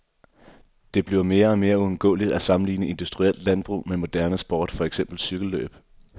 Det bliver mere og mere uundgåeligt at sammenligne industrielt landbrug med moderne sport, for eksempel cykellløb.